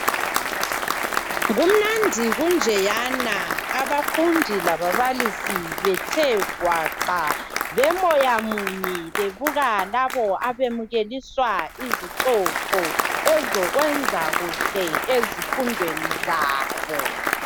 Kumnandi kunjeyana abafundi lababalisi bethe gwaqa bemoyamunye bebuka laba abemukeliswa izicoco ozokwenza kuhle ezifundweni zabo.